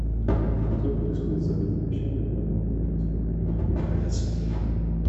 что происходит с забытыми вещами в данном отеле сколько они времени хранятся